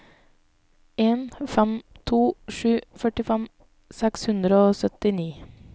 en fem to sju førtifem seks hundre og syttini